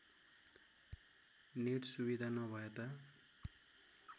net सुविधा नभएता